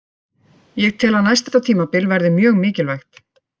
Ég tel að næsta tímabil verði mjög mikilvægt.